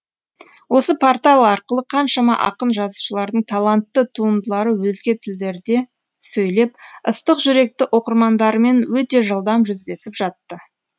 осы портал арқылы қаншама ақын жазушылардың талантты туындылары өзге тілдерде сөйлеп ыстық жүректі оқырмандарымен өте жылдам жүздесіп жатты